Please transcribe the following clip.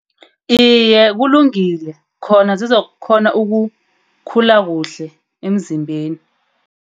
Iye, kulungile khona zizokukghona ukukhula kuhle emzimbeni.